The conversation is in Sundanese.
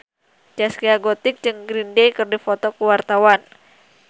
Zaskia Gotik jeung Green Day keur dipoto ku wartawan